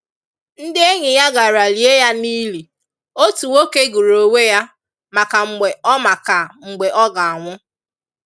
Ndị enyi ya gàrà lie ya n’ìlì, otu nwoke gụrụ onwe ya maka mgbe ọ maka mgbe ọ ga-anwụ.